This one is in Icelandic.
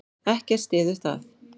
Ekkert styður það.